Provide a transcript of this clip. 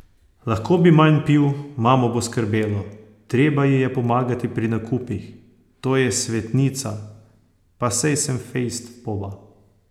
Lahko bi manj pil, mamo bo skrbelo, treba ji je pomagati pri nakupih, to je svetnica, pa saj sem fejst poba.